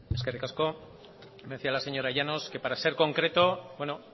eskerrik asko decía la señora llanos que para ser concreto bueno